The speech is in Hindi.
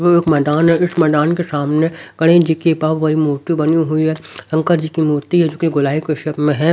ये एक मैदान है इस मैदान के सामने गणेश जी की बहुत बड़ी मूर्ति बनी हुई है शंकर जी की मूर्ति है जो कि गोलाई के शेप में है।